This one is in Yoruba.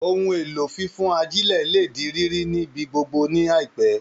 Ohun èlò fífán ajílẹ̀ lè di rírí ni ibi gbogbo ní àìpẹ́